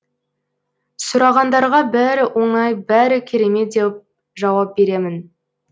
сұрағандарға бәрі оңай бәрі керемет деп жауап беремін